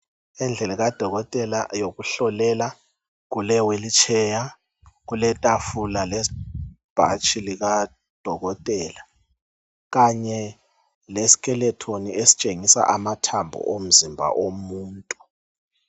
Endlini kudokotela yokuhlolela kulewheelchair, kuletafula lebhatshi likadokotela kanye leskeleton esitshingisa amathambo omzimba omuntu.